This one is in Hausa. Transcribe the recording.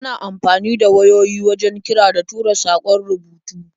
Ana amfani da wayoyi wajen kira da tura saƙon rubutu.